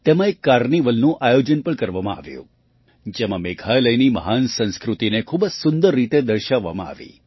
તેમાં એક carnivalનું આયોજન પણ કરવામાં આવ્યું જેમાં મેઘાલયની મહાન સંસ્કૃતિને ખૂબ જ સુંદર રીતે દર્શાવવામાં આવી